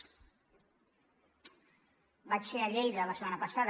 vaig ser a lleida la setmana passada